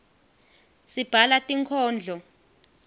sibhala tinkhondlo